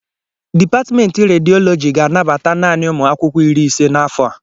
Dipatmentị Rediọlọji ga-anabata naanị ụmụ akwụkwọ iri ise n'afọ a